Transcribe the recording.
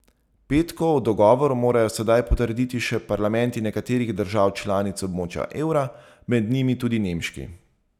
Petkov dogovor morajo sedaj potrditi še parlamenti nekaterih držav članic območja evra, med njimi tudi nemški.